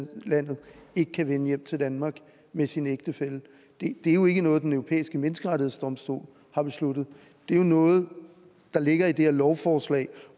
udlandet kan vende hjem til danmark med sin ægtefælle det er jo ikke noget den europæiske menneskerettighedsdomstol har besluttet det er jo noget der ligger i det her lovforslag